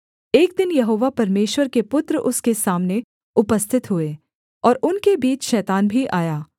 एक दिन यहोवा परमेश्वर के पुत्र उसके सामने उपस्थित हुए और उनके बीच शैतान भी आया